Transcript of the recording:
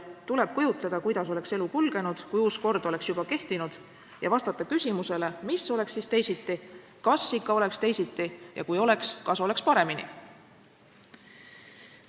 Tuleb kujutleda, kuidas oleks elu kulgenud, kui uus kord oleks juba kehtinud, ja vastata küsimustele, mis oleks siis teisiti, kas ikka oleks teisiti ja kui oleks, kas siis oleks paremini.